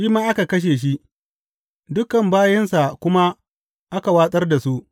Shi ma aka kashe shi, dukan mabiyansa kuma aka watsar da su.